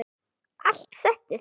Allt settið